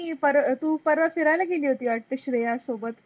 परत तू परत फीऱाय़ला गेली होती वाटत श्रेया सोबत.